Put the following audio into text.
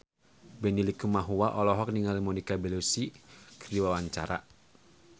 Benny Likumahua olohok ningali Monica Belluci keur diwawancara